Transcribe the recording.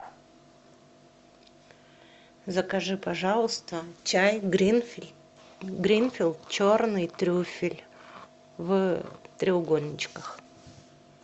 закажи пожалуйста чай гринфилд черный трюфель в треугольничках